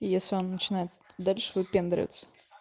и если он начинает дальше выпендриваться